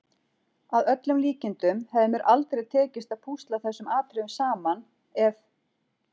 Að öllum líkindum hefði mér aldrei tekist að púsla þessum atriðum saman, ef